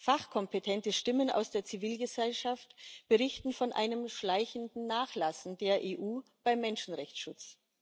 Fachkompetente Stimmen aus der Zivilgesellschaft berichten von einem schleichenden Nachlassen der EU beim Menschenrechtsschutz.